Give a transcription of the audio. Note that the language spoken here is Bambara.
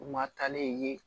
U ma taa ne ye